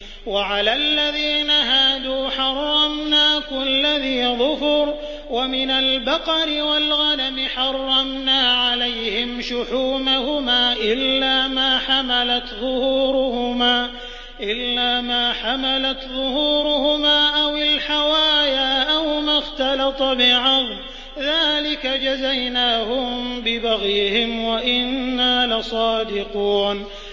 وَعَلَى الَّذِينَ هَادُوا حَرَّمْنَا كُلَّ ذِي ظُفُرٍ ۖ وَمِنَ الْبَقَرِ وَالْغَنَمِ حَرَّمْنَا عَلَيْهِمْ شُحُومَهُمَا إِلَّا مَا حَمَلَتْ ظُهُورُهُمَا أَوِ الْحَوَايَا أَوْ مَا اخْتَلَطَ بِعَظْمٍ ۚ ذَٰلِكَ جَزَيْنَاهُم بِبَغْيِهِمْ ۖ وَإِنَّا لَصَادِقُونَ